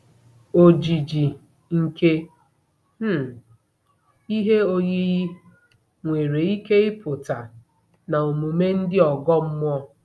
Ojiji nke um ihe oyiyi nwere ike ịpụta na omume ndị ọgọ mmụọ